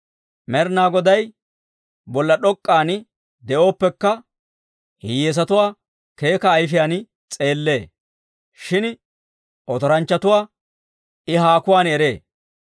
Med'inaa Goday bolla d'ok'k'an de'ooppekka, hiyyeesatuwaa keeka ayifiyaan s'eellee. Shin otoranchchatuwaa I haakuwaan eree.